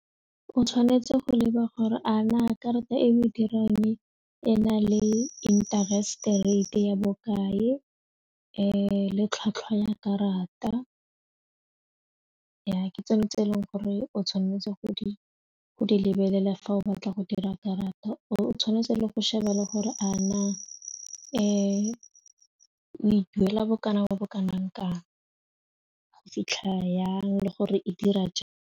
O tshwanetse go leba gore a na karata e o e dirang ena le interest-e rate ya bokae le le tlhwatlhwa ya karata ke tsone tse e leng gore o tshwanetse go di go di lebelela fa o batla go dira karata, o tshwanetse go sheba gore a na o e duela bokana ba bo kanang kang go fitlha yang le gore e dira jang.